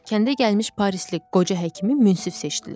Kəndə gəlmiş Parisli qoca həkimi münsif seçdilər.